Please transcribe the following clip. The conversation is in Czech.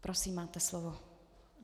Prosím, máte slovo.